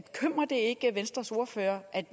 ikke venstres ordfører at